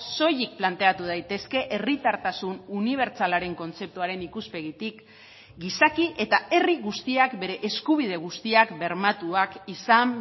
soilik planteatu daitezke herritartasun unibertsalaren kontzeptuaren ikuspegitik gizaki eta herri guztiak bere eskubide guztiak bermatuak izan